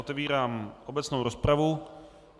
Otevírám obecnou rozpravu.